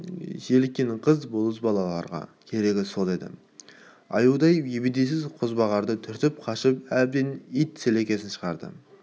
желіккен қыз бозбалаларға керегі де сол аюдай ебедейсіз қозбағарды түртіп қашып әбден ит сілікпесін шығарды